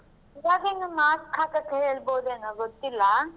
ಈವಾಗಿನ್ನು mask ಹಾಕಕ್ ಹೇಳ್ಬೋದೇನೋ ಗೊತ್ತಿಲ್ಲಾ.